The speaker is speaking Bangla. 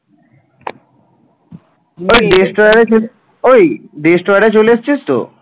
destroyer চলে এসছিস তো?